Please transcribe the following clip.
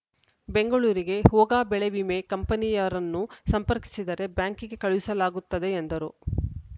ಬೆಂಗಳೂರಿಗೆ ಹೋಗ ಬೆಳೆ ವಿಮೆ ಕಂಪನಿಯರನ್ನು ಸಂಪರ್ಕಿಸಿದರೆ ಬ್ಯಾಂಕಿಗೆ ಕಳುಹಿಸಲಾಗುತ್ತದೆ ಎಂದರು